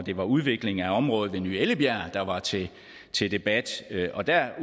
det var udvikling af området ved ny ellebjerg der var til til debat og der